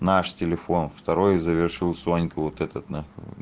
наш телефон второй завершил сонька вот этот нахуй